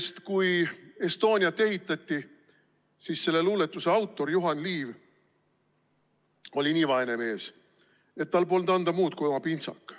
Sest kui Estoniat ehitati, siis selle luuletuse autor Juhan Liiv oli nii vaene mees, et tal polnud anda muud kui oma pintsak.